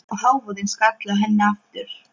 Og hávaðinn skall á henni aftur.